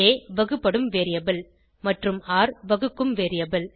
ஆ வகுபடும் வேரியபிள் மற்றும் ர் வகுக்கும் வேரியபிள்